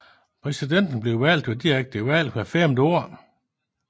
Præsidenten bliver valgt ved direkte valg hvert femte år